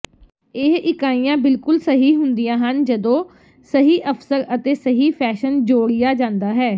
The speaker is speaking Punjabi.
ਇਹ ਇਕਾਈਆਂ ਬਿਲਕੁਲ ਸਹੀ ਹੁੰਦੀਆਂ ਹਨ ਜਦੋਂ ਸਹੀ ਅਵਸਰ ਅਤੇ ਸਹੀ ਫੈਸ਼ਨ ਜੋੜਿਆ ਜਾਂਦਾ ਹੈ